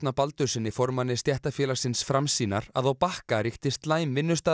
Baldurssyni formanni stéttarfélagsins Framsýnar að á Bakka ríkti slæm